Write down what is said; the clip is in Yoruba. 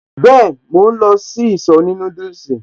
Been, mò ń lọ sí ìsọ̀ òní núdùsì